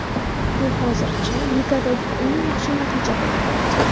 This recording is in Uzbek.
Bu hozircha ligadagi eng yaxshi natija bo‘lib turibdi.